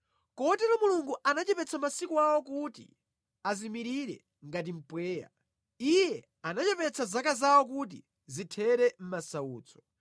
Kotero Mulungu anachepetsa masiku awo kuti azimirire ngati mpweya. Iye anachepetsa zaka zawo kuti zithere mʼmasautso.